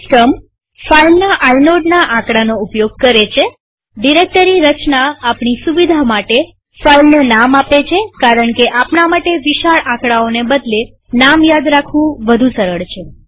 system ફાઈલના આઇનોડના આકડાનો ઉપયોગ કરે છેડિરેક્ટરી રચના આપણી સુવિધા માટે ફાઈલને નામ આપે છે કારણકે આપણા માટે વિશાળ આકડાઓને બદલે નામ યાદ રાખવું સરળ છે